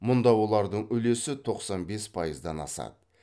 мұнда олардың үлесі тоқсан бес пайыздан асады